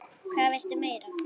Hvað viltu meira?